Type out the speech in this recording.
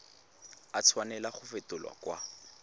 a tshwanela go fetolwa kwa